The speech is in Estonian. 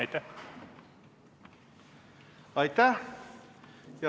Aitäh!